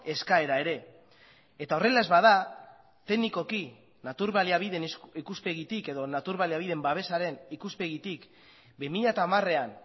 eskaera ere eta horrela ez bada teknikoki natur baliabideen ikuspegitik edo natur baliabideen babesaren ikuspegitik bi mila hamarean